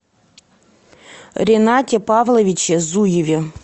ренате павловиче зуеве